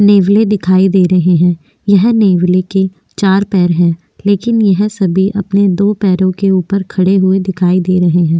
नेवले दिखाई दे रहे है यह नेवले के चार पैर है लेकिन ये सभी अपने दो पेरो के उपर खड़े हुए दिखाई दे रहे है।